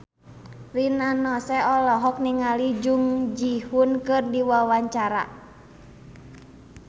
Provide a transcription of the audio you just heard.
Rina Nose olohok ningali Jung Ji Hoon keur diwawancara